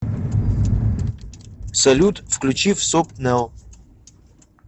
салют включи всоп нэл